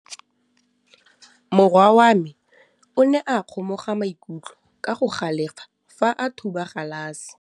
Morwa wa me o ne a kgomoga maikutlo ka go galefa fa a thuba galase.